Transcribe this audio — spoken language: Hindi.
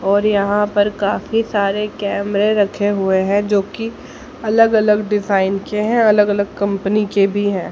और यहां पर काफी सारे कैमरे रखे हुए हैं जोकि अलग अलग डिजाइन के हैं अलग अलग कंपनी के भी है।